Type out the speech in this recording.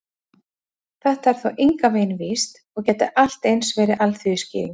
Þetta er þó engan veginn víst, og gæti allt eins verið alþýðuskýring.